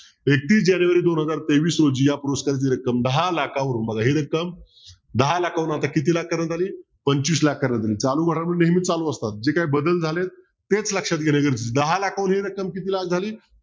एकतीस जानेवारी दोन हजार तेवीस रोजी या पुरस्काराची रक्कम दहा लाखावरून बघा ही रक्कम दहा लाखावरून आता किती लाखांपर्यन्त आली पंचवीस लाख करण्यात आली चालू घडामोडी नेहमी चालू असतात जे काही बदल झालेत तेच लक्षात घेणं गरजेचं आहे दहा लाखावरून ही रक्कम किती लाख झाली